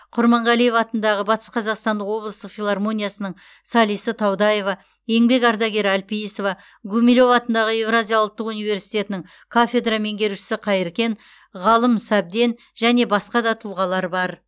құрманғалиев атындағы батыс қазақстандық облыстық филармониясының солисі таудаева еңбек ардагері әлпейісова гумилев атындағы еуразия ұлттық университетінің кафедра меңгерушісі қайыркен ғалым сәбден және басқа да тұлғалар бар